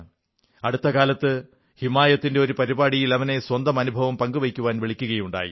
അടുത്ത കാലത്ത് ഹിമായത്തിന്റെ ഒരു പരിപാടിയിൽ അവനെ സ്വന്തം അനുഭവം പങ്കുവയ്ക്കാൻ വിളിക്കുകയുണ്ടായി